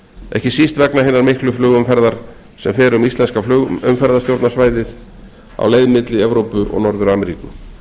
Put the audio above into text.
ekki síst vegna hinnar miklu flugumferðar sem fer um íslenska flugumferðarstjórnarsvæðið á leið milli evrópu og norður ameríku